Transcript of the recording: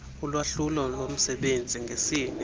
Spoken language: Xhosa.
ulwahlulo lomsebenzi ngesini